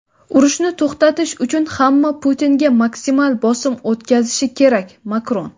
Urushni to‘xtatish uchun hamma Putinga maksimal bosim o‘tkazishi kerak – Makron.